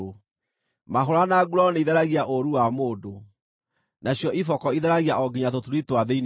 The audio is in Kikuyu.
Mahũũra na nguraro nĩitheragia ũũru wa mũndũ, nacio iboko itheragia o nginya tũturi twa thĩinĩ mũno.